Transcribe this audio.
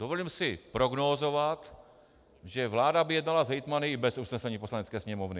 Dovolím si prognózovat, že vláda by jednala s hejtmany i bez usnesení Poslanecké sněmovny.